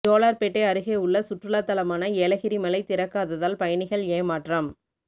ஜோலார்பேட்டை அருகே உள்ள சுற்றுலாதலமான ஏலகிரி மலை திறக்காததால் பயணிகள் ஏமாற்றம்